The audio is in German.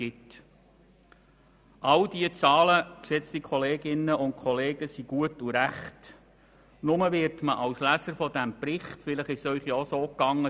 All diese Zahlen sind gut und recht, doch als Leser dieses Berichts wird man ziemlich alleingelassen.